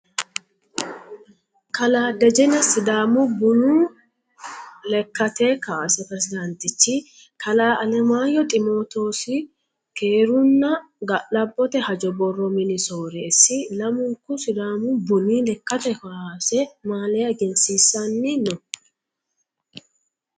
Kalaa dejene sidaamu buni lekkate kaase presidaantichi, kalaa alemaayehu ximootoosi keerunna ga'labbote hajo borro mini soreessi lamunku sidaamu buni lekkate kaase maliya egensiissanni no.